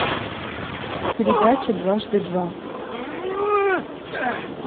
передача дважды два